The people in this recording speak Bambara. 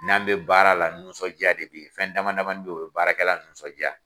N'an bɛ baara la nisɔndiya de bɛ ye fɛn dama damani bɛ yen o ye baarakɛlala nisɔndiya